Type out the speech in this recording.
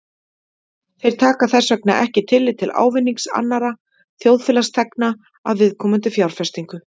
Þeir taka þess vegna ekki tillit til ávinnings annarra þjóðfélagsþegna af viðkomandi fjárfestingu.